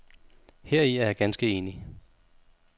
Heri er jeg ganske enig.